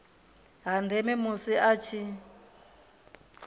ha ndeme musi a tshi